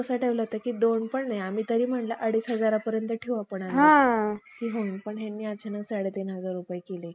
मोडण्या करिता आमच्या सरकारस, कर्ज झाले असे. खर्च झाले असेल खरे. पण ते कर्ज